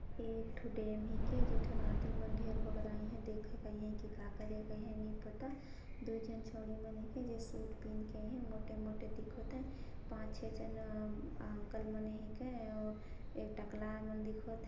एक ठो डेम हे के जे ठन आदमी मन ढेर बगराये हे देख कही के का करे कहें नई पता दो झन छड़ी ह मन ह जे शूट पहिन के आये मोटे -मोटे दिखत हे पाँच छः झन अ... अंकल मने हे का अ अउ ये टकला मन दिखत हैं।